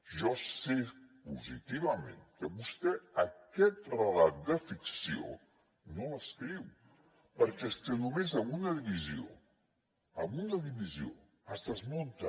jo sé positivament que vostè aquest relat de ficció no el subscriu perquè és que només amb una divisió amb una divisió es desmunta